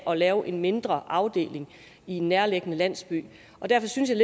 at lave en mindre afdeling i en nærliggende landsby derfor synes jeg